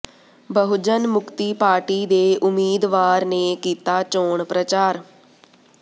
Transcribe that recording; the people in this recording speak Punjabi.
ਬਹੁਜਨ ਮੁਕਤੀ ਪਾਰਟੀ ਦੇ ਉਮੀਦਵਾਰ ਨੇ ਕੀਤਾ ਚੋਣ ਪ੍ਰਚਾਰ